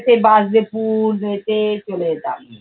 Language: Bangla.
সেই bus ডেপু হেঁটে চলে যেতাম।